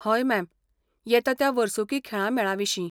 हय, मॅम, येता त्या वर्सुकी खेळां मेळाविशीं.